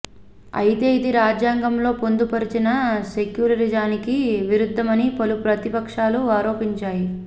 అయితే ఇది రాజ్యాంగంలో పొందు పరచిన సెక్యులరిజానికి విరుధ్ధమని పలు ప్రతిపక్షాలు ఆరోపించాయి